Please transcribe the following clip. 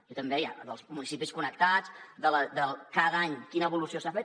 i com deia dels municipis connectats cada any quina evolució s’ha fet